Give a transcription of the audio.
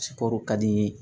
ka di